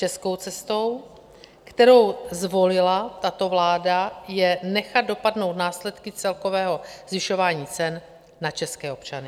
Českou cestou, kterou zvolila tato vláda, je nechat dopadnout následky celkového zvyšování cen na české občany.